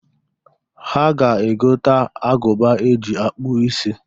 Ha ga-egota agụba e ji akpụ isi.